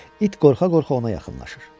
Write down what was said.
İt qorxa-qorxa ona yaxınlaşır.